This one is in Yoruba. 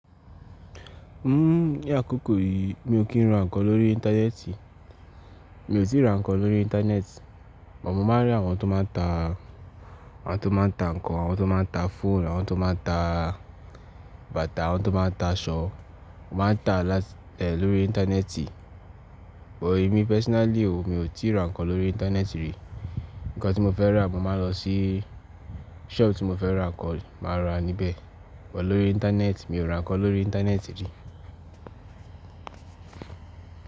Ni akoko yìí mi ò kí n ra nǹkan lórí Íńtánẹ́ẹ̀tì. Mi ò tíì ra nǹkan lórí Íńtánẹ́ẹ̀tì. Mo máa ń rí àwọn tó máa ta, àwọn tó máa ta nǹkan, àwọn tó máa ta fóònù, àwọn tó máa ta bàtà, àwọn tó máa ta aṣọ. Wọ́n máa ń ta lórí Íńtánẹ́ẹ̀tì. But emi personally o, mi ò tíì ra nǹkan lórí Íńtánẹ́ẹ̀tì rí. Ǹkan tí mo fẹ́ ra, mo máa lọ sí ṣọọ̀bù tí mo fẹ́ ra nǹkan, màá ra níbẹ̀. Bó lórí Íńtánẹ́ẹ̀tì, mi ò ra nǹkan lórí Íńtánẹ́ẹ̀tì rí.